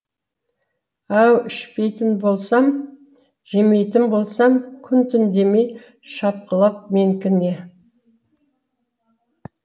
ау ішпейтін болсам жемейтін болсам күн түн демей шапқылап менікі не